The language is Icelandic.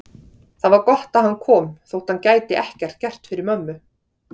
Það var gott að hann kom þótt hann gæti ekkert gert fyrir mömmu.